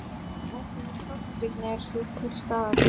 Ákveðin tortryggni er því til staðar.